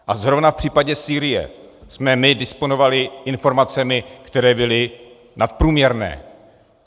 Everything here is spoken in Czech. A zrovna v případě Sýrie jsme my disponovali informacemi, které byly nadprůměrné.